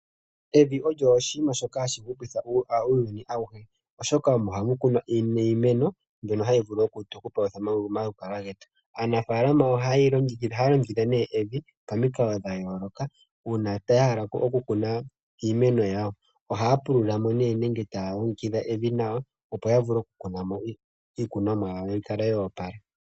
Evi olyo oshiima shoka hashi hupitha uuyuni awuhe oshoka omo hamu kunwa iimeno mbyono hayi tu petha omalukalwa getu. Aanafalama ohaya longekidha evi pamikalo dhaayooloka uuna ya hala okukuna iimeno yawo ohaya pulululamo nenge taye li longekidha nawa opo ya vule okukuna mo iimeno yawo you kale yoopala